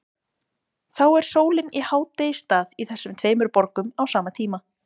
Þá er sólin í hádegisstað í þessum tveimur borgum á sama tíma.